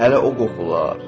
Hələ o qoxular.